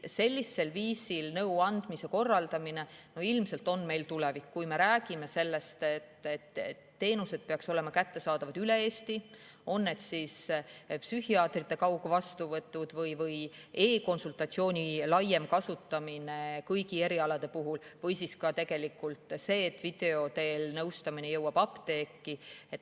Sellisel viisil nõuandmise korraldamine on ilmselt meie tulevik, kui me räägime sellest, et teenused peaksid olema kättesaadavad üle Eesti, on need siis psühhiaatrite kaugvastuvõtud või e‑konsultatsiooni laiem kasutamine kõigi erialade puhul või siis ka tegelikult see, et video teel nõustamine jõuab apteeki.